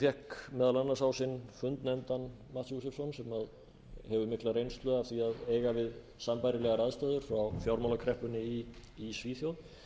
fékk meðal annars á sinn fund nefndan átt josefsson sem hefur mikla reynslu af því að eiga við sambærilegar aðstæður frá fjármálakreppunni í svíþjóð